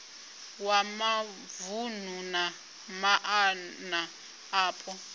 wa mavunu na maana apo